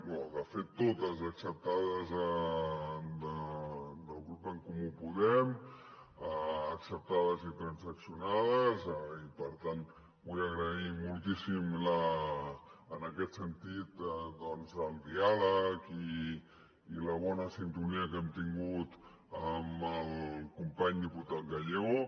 no de fet totes acceptades del grup d’en comú podem acceptades i transaccionades i per tant vull agrair moltíssim en aquest sentit el diàleg i la bona sintonia que hem tingut amb el company diputat gallego